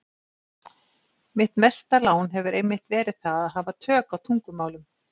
Mitt mesta lán hefur einmitt verið það að hafa tök á tungumálum.